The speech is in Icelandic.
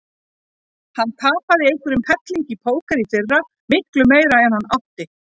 Hann tapaði einhverjum helling í póker í fyrra, miklu meira en hann átti.